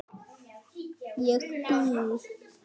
Ég býð!